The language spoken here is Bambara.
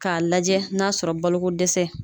K'a lajɛ n'a sɔrɔ boloko dɛsɛ